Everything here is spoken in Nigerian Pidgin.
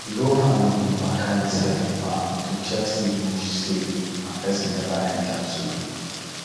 the whole family dey waka inside the farm to check say bush safe and person never enter too